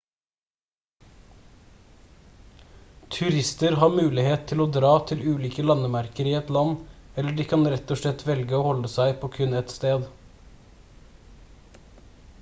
turister har mulighet til å dra til ulike landemerker i et land eller de kan rett og slett velge å holde seg på kun ett sted